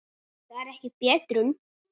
Það er ekki betrun.